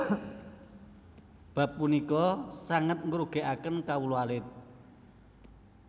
Bab punika sanget ngrugèkaken kawula alit